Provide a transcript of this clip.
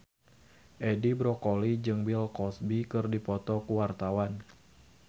Edi Brokoli jeung Bill Cosby keur dipoto ku wartawan